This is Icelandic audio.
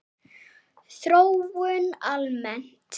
Þróun almennt